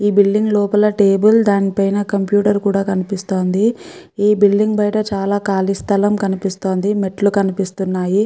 ఈ బిల్డింగ్ లోపల టేబిల్ దాని పైన కంప్యూటర్ కూడా కనిపిస్తుంది. ఈ బిల్డింగ్ బయట చాలా ఖాళీ స్థలం కనిపిస్తుంది మెట్లు కనిపిస్తున్నాయి.